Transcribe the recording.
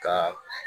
Ka